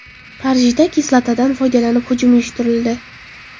Parijda kislotadan foydalanib hujum uyushtirildi.